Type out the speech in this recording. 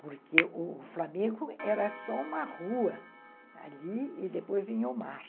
Porque o o Flamengo era só uma rua ali e depois vinha o mar.